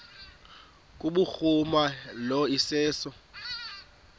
kubhuruma lo iseso